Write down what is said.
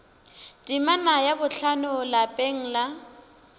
temana ya bohlano lapeng la